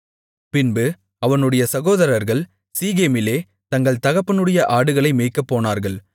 பின்பு அவனுடைய சகோதரர்கள் சீகேமிலே தங்கள் தகப்பனுடைய ஆடுகளை மேய்க்கப் போனார்கள்